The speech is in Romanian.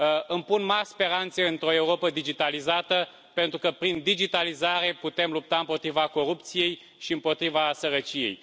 Îmi pun mari speranțe într o Europă digitalizată, pentru că prin digitalizare putem lupta împotriva corupției și împotriva sărăciei.